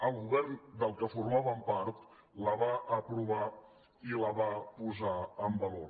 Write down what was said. el govern del qual formaven part la va aprovar i la va posar en valor